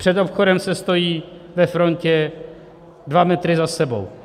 Před obchodem se stojí ve frontě dva metry za sebou.